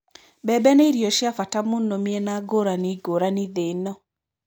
Mbembe nĩ irio cia bata mũno mĩena ngũrani ngũrani thĩ-ĩno.